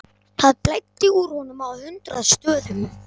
Það blæddi úr honum á hundrað stöðum.